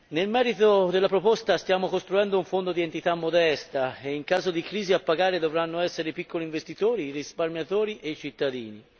Nel merito della proposta, stiamo costruendo un fondo di entità modesta e in caso di crisi a pagare dovranno essere i piccoli investitori, i risparmiatori e i cittadini.